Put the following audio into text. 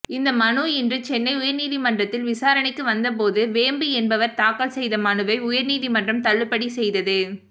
இந்த மனு இன்று சென்னை உயர்நீதிமன்றத்தில் விசாரணைக்கு வந்தபோது வேம்பு என்பவர் தாக்கல் செய்த மனுவை உயர்நீதிமன்றம் தள்ளுபடி செய்தது